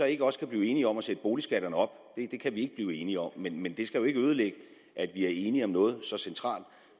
ikke også kan blive enige om at sætte boligskatterne op det kan vi ikke blive enige om men det skal jo ikke ødelægge at vi er enige om noget så centralt